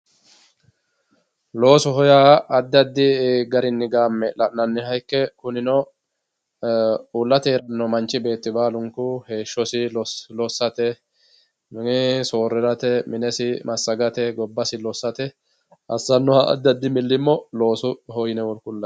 loosoho yaa addi addi garinni gamme la'nanniha ikke kunino uulate noo manchi beetti baalunku heeshshosi lossate soorirate minesi massagate gobbasi lossate assanoha addi addi milimmo loosoho yine kullanni.